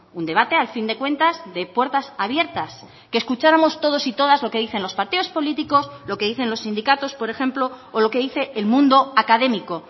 un debate al fin de cuentas de puertas abiertas que escucháramos todos y todas lo que dicen los partidos políticos lo que dicen los sindicatos por ejemplo o lo que dice el mundo académico